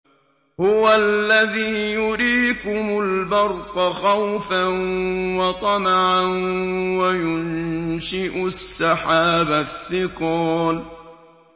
هُوَ الَّذِي يُرِيكُمُ الْبَرْقَ خَوْفًا وَطَمَعًا وَيُنشِئُ السَّحَابَ الثِّقَالَ